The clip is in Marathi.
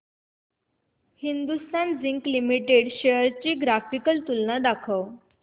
हिंदुस्थान झिंक लिमिटेड शेअर्स ची ग्राफिकल तुलना दाखव